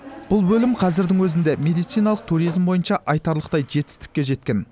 бұл бөлім қазірдің өзінде медициналық туризм бойынша айтарлықтай жетістікке жеткен